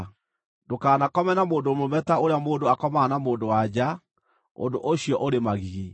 “ ‘Ndũkanakome na mũndũ mũrũme ta ũrĩa mũndũ akomaga na mũndũ-wa-nja; ũndũ ũcio ũrĩ magigi.